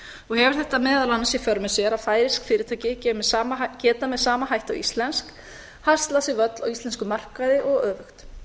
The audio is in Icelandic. og hefur þetta meðal annars í för með sér að færeysk fyrirtæki geta með sama hætti og íslensk haslað sér völl á íslenskum markaði og öfugt